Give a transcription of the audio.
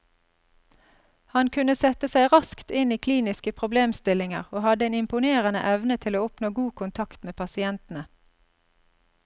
Han kunne sette seg raskt inn i kliniske problemstillinger, og hadde en imponerende evne til å oppnå god kontakt med pasientene.